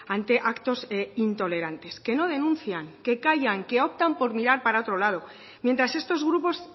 ante actos intolerantes que no denuncian que callan que optan por mirar para otro lado mientras estos grupos